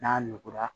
N'a nugura